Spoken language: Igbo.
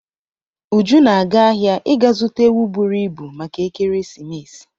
Uju na-aga ahịa ịga zuta ewu buru ibu maka ekeresimesi.